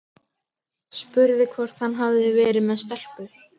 Spurði hvort hann hefði verið með stelpu.